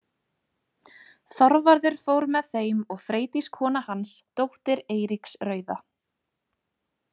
Þorvarður fór með þeim og Freydís kona hans, dóttir Eiríks rauða.